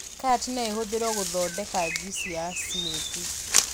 Karati no ĩhũthĩrwo gũthondeka juici ya cimuthi